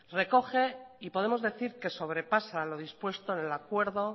recoge y podemos decir que sobrepasa lo dispuesto en el acuerdo